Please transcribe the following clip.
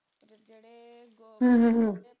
ਹਮ